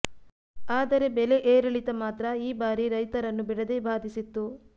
ಆದರೆ ಬೆಲೆ ಏರಿಳಿತ ಮಾತ್ರ ಈ ಬಾರಿ ರೈತರನ್ನು ಬಿಡದೇ ಬಾಧಿಸಿತ್ತು